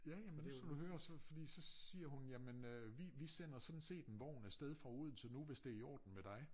Ja ja men nu skal du høre så fordi så siger hun jamen øh vi vi sender sådan set en vogn afsted fra Odense nu hvis det i ordne med dig